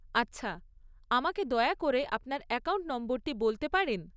আচ্ছা। আমাকে দয়া করে আপনার অ্যাকাউন্ট নম্বরটি বলতে পারেন?